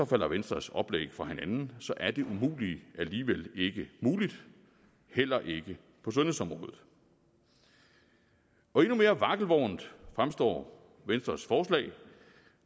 falder venstres oplæg fra hinanden så er det umulige alligevel ikke muligt heller ikke på sundhedsområdet endnu mere vakkelvornt fremstår venstres forslag